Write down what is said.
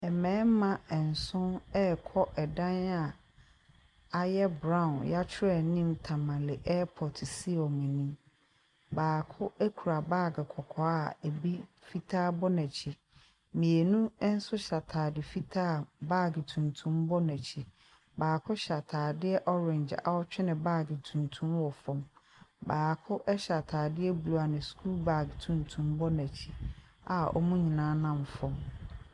Mmarima nson rekɔ dan a ayɛ brown. Yɛatwerɛ anim Tamale airpɔt si wɔn anim. Baako kura baage kɔkɔɔ ebi fitaa bɔ n'akyi. Nsso hyɛ ataade fitaa a baage tuntum bɔ n'akyi. Baako hyɛ ataadeɛ orange a ɔretwe ne baage tuntum wɔ fam. Baako hyɛ ataade blue a ne sukuu baage tutum bɔ n'akyi.